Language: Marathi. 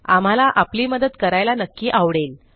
आम्हाला आपली मदत करायला नक्की आवडेल